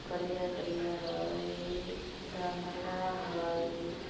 करिया-करिया हाई गमला हाई हो हो ।